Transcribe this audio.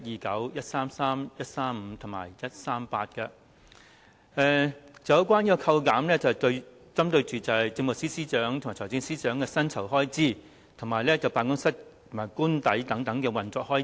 這些修正案旨在扣減政務司司長和財政司司長的薪酬開支，以及其辦公室和官邸的運作開支。